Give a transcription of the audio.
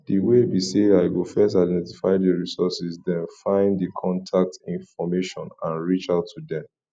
di way be say i go first identify di resources den find di contact information and reach out to dem